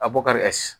A bɔ kari